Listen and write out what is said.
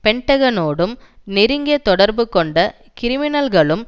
பென்டகனோடும் நெருங்கிய தொடர்பு கொண்ட கிரிமினல்களும்